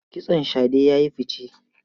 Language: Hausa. Kitson shade ya yi fice.